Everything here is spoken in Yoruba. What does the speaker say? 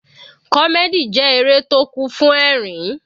Comedy jẹ́ eré tó kún fún ẹ̀rín.